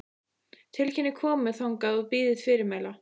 Tilkynnið komu þangað og bíðið fyrirmæla.